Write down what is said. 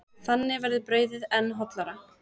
Þannig verður brauðið enn hollara.